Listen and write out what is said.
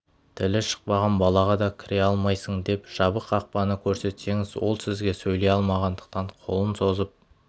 тілі шықпаған балаға да кіре алмайсың деп жабық қақпаны көрсетсеңіз ол сізге сөйлей алмағандықтан қолын созып